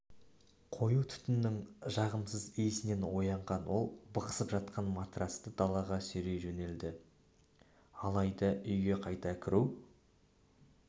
қою түтіннің жағымсыз иісінен оянған ол бықсып жатқан матрацты далаға сүйрей жөнеледі алайда үйге қайта кіру